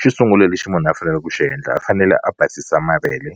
Xo sungula lexi munhu a fanele ku xi endla a fanele a basisa mavele